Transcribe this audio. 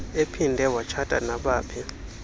ephinde watshata nabaphi